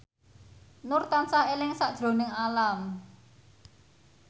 Nur tansah eling sakjroning Alam